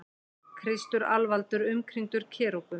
Kristur alvaldur umkringdur kerúbum.